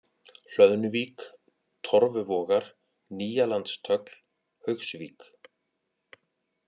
Hlöðnuvík, Torfuvogar, Nýjalandstögl, Haugsvík